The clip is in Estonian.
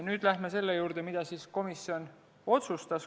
Nüüd läheme selle juurde, mida komisjon otsustas.